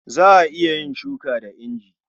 Za a iya yin shuka da inji.